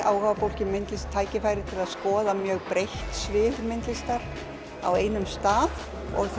áhugafólki um myndlist tækifæri til að skoða mjög breitt svið myndlistar á einum stað